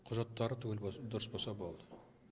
құжаттары түгел дұрыс болса болды